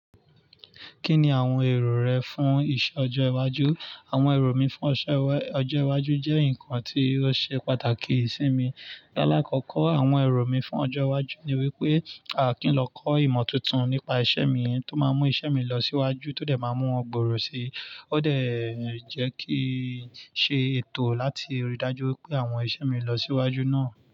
Kí ni àwọn èrò rẹ fún ìsọ̀ ọjọ́ iwájú? Àwọn èrò mi fún ọ̀sọ́ ọjọ́ iwájú jẹ́ nǹkan tí ó ṣe pàtàkì sí mi. Láàkọ́kọ́, àwọn èrò mi fún ọjọ́ iwájú ni wípé à kí n lọ kọ́ ìmọ̀ tuntun nípa isẹ́ mi tó máa mú isẹ́ mi lọ síwájú tó dẹ̀ máa mú ọgbòrọ̀ si. Ó dẹ̀ n jẹ́ kín ṣe ètò láti rí i dájú pé àwọn isẹ́ mi lọ síwájú náà.